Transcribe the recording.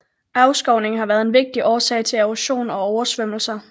Afskovningen har været en vigtig årsag til erosion og oversvømmelser